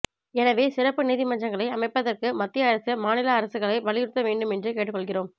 எனவே சிறப்பு நீதிமன்றங்களை அமைப்பதற்கு மத்திய அரசு மாநில அரசுகளை வலியுறுத்த வேண்டும் என்று கேட்டுக்கொள்கிறோம்